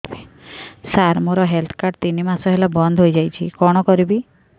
ସାର ମୋର health card ତିନି ମାସ ହେଲା ବନ୍ଦ ହେଇଯାଇଛି କଣ କରିବି